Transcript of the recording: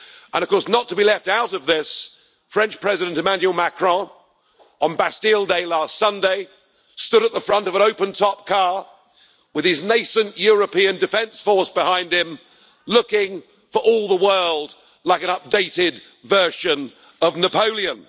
And, not to be left out of this, French President, Emmanuel Macron, on Bastille Day last Sunday, stood at the front of an open top car with his nascent European defence force behind him looking for all the world like an updated version of Napoleon.